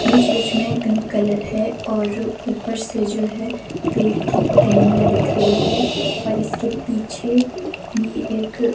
बीच बीच में pink colour है और ऊपर से जो है पेड़ की टहनियां दिख रही है और इसके पीछे भी एक--